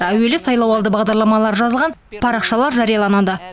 әуелі сайлауалды бағдарламалары жазылған парақшалар жарияланады